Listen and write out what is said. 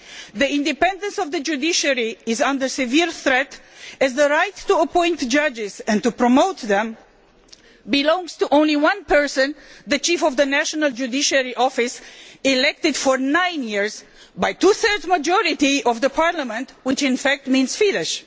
The independence of the judiciary is under severe threat, as the right to appoint judges and to promote them belongs to only one person the chief of the national judiciary office elected for nine years by a two thirds majority of the Parliament, which in fact means Fidesz.